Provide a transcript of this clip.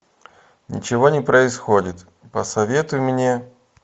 ничего не происходит посоветуй мне